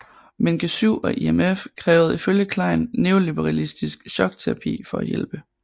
Men G7 og IMF krævede ifølge Klein neoliberalistisk chokterapi for at hjælpe